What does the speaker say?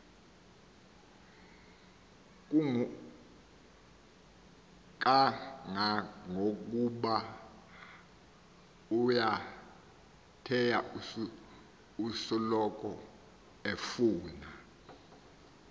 kangangokubaoyambetheyo usoloko efuna